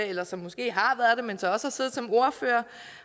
eller som måske har været det men så også har siddet som ordfører